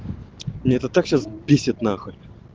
меня это так сейчас бесит нахуй